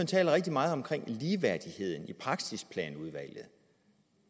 taler rigtig meget om ligeværdigheden i praksisplanudvalget